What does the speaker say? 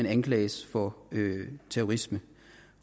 anklages for terrorisme